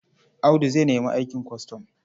Audu zai nemi aikin kwastam.